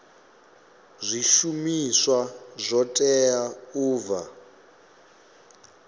zwishumiswa zwo teaho u bva